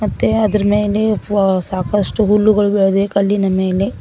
ಮತ್ತೆ ಅದರ ಮೇಲೆ ವೊ- ಸಾಕಷ್ಟು ಹುಲ್ಲುಗಳು ಬೆಳೆದಿವೆ ಕಲ್ಲಿನ ಮೇಲೆ.